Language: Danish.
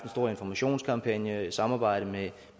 stor informationskampagne i samarbejde med